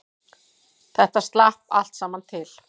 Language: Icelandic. Þetta slapp allt saman til